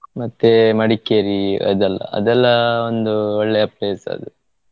ಮತ್ತೆ Madikeri . ಅದೆಲ್ಲಾ ಅದೆಲ್ಲಾ ಒಂದು ಒಳ್ಳೇ place ಅದು.